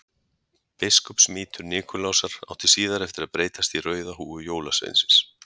Biskupsmítur Nikulásar átti síðar eftir að breytast í rauða húfu jólasveinsins.